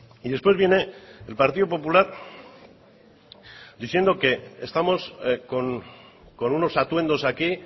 y después viene el partido popular diciendo que estamos con unos atuendos aquí